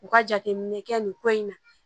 U ka jateminɛ kɛ nin ko in na